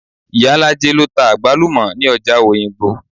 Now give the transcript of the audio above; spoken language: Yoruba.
Ìyálájé lọ ta àgbálùmọ̀ ní ọjà òyìngbò